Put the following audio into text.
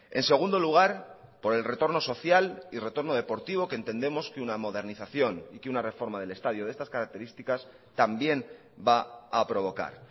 en segundo lugar por el retorno social y retorno deportivo que entendemos que una modernización y que una reforma del estadio de estas características también va a provocar